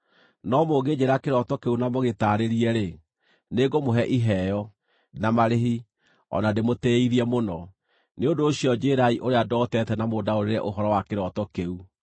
No mũngĩnjĩĩra kĩroto kĩu na mũgĩtaarĩrie-rĩ, nĩngũmũhe iheo, na marĩhi, o na ndũmũtĩithie mũno. Nĩ ũndũ ũcio njĩĩrai ũrĩa ndootete na mũndaũrĩre ũhoro wa kĩroto kĩu.”